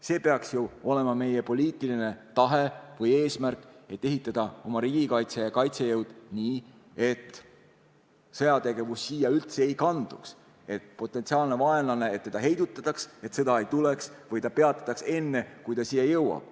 See peaks ju olema meie poliitiline tahe või eesmärk, et ehitada oma riigikaitse ja kaitsejõud üles nii, et sõjategevus üldse siia ei kanduks, et potentsiaalset vaenlast heidutataks, et sõda ei tuleks või sõda peatataks enne, kui ta siia jõuab.